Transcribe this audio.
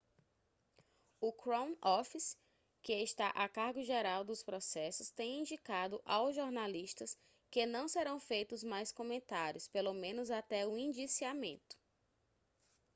o crown office que está a cargo geral dos processos tem indicado ao jornalistas que não serão feitos mais comentários pelo menos até o indiciamento